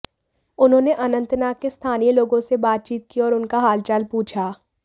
उन्होंने अनंतनाग के स्थानीय लोगों से बातचीत की और उनका हालचाल पूछा